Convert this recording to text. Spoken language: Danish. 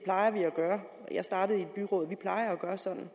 gøre jeg startede i et byråd vi plejer at gøre sådan